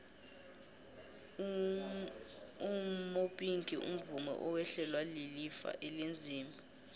umopinki umvumi owehlelwa lilifa elinzima